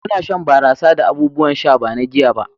muna shan barasa da abubuwan sha ba na giya ba